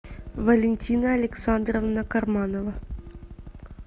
валентина александровна карманова